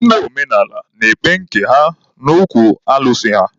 Ndị omenaala na-ekpe nke ha n'okwu alụsị ha.